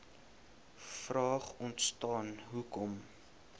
vraag ontstaan hoekom